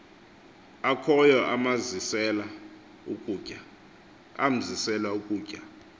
akhoyo amzisela ukutya